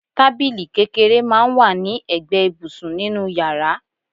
Tábìlì kékeré máa ń wà ní ẹgbẹ́ ibùsùn nínú yàrá